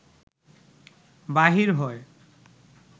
বাহির হয়